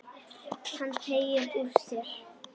Hann teygir úr sér.